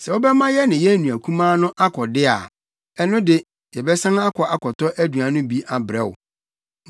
Sɛ wobɛma yɛne yɛn nua kumaa no akɔ de a, ɛno de, yɛbɛsan akɔ akɔtɔ aduan no bi abrɛ wo.